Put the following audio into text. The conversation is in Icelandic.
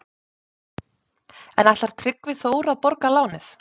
En ætlar Tryggvi Þór að borga lánið?